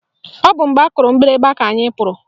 Ọ bụ mgbe akụrụ mgbịrịgba ka anyị pụrụ